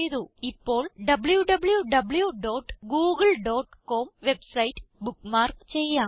ഇപ്പോൾ W V dot Google dot com website bookmark ചെയ്യാം